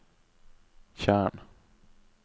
tjern